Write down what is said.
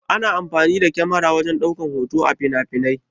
Ana amfani da kyamara wajen ɗaukan hoto a finafinai.